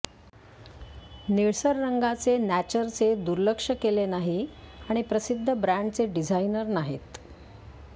निळसर रंगाचे नॅचरचे दुर्लक्ष केले नाही आणि प्रसिद्ध ब्रॅण्डचे डिझाइनर नाहीत